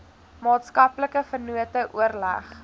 maatskaplike vennote oorleg